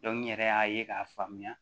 n yɛrɛ y'a ye k'a faamuya